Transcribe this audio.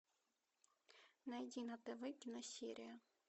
найди на тв киносерия